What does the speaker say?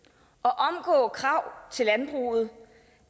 at og krav til landbruget